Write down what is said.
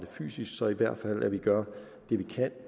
fysisk så i hvert fald gør det vi kan